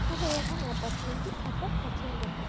সবাই এখন এপার্টমেন্ট -এ থাকা পছন্দ ক--